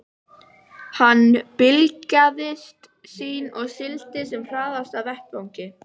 Hann blygðaðist sín og sigldi sem hraðast af vettvangi.